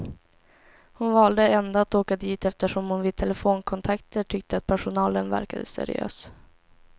Hon valde ändå att åka dit eftersom hon vid telefonkontakter tyckte att personalen verkade seriös.